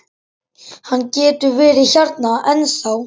Hann getur verið hérna ennþá.